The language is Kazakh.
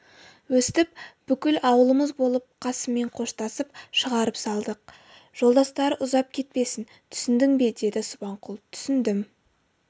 өстіп бүкіл ауылымыз болып қасыммен қоштасып шығарып салдық жолдастары ұзап кетпесін түсіндің бе деді субанқұл түсіндім